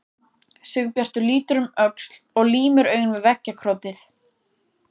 Sigurbjartur lítur um öxl og límir augun við veggjakrotið.